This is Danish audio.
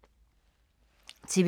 TV 2